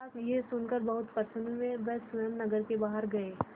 महाराज यह सुनकर बहुत प्रसन्न हुए वह स्वयं नगर के बाहर गए